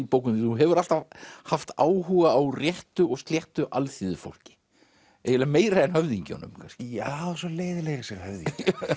bókum þínum þú hefur alltaf haft áhuga á réttu og sléttu alþýðufólki eiginlega meiri en höfðingjunum já svo leiðinlegir þessir höfðingjar